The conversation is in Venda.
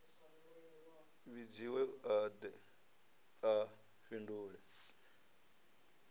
vhidziwe a de a fhindule